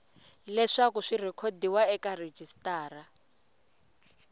leswaku swi rhekhodiwa eka rejistara